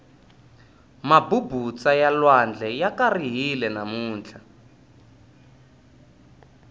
mabubutsa ya lwandle ya karihile namuntlha